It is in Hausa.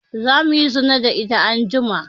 Za muyi zina da ita anjima